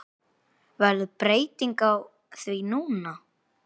Verður breyting á því núna?